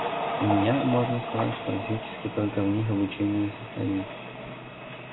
у меня можно сказать практически только в них обучение и состоит